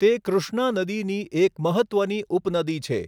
તે કૃષ્ણા નદીની એક મહત્ત્વની ઉપનદી છે.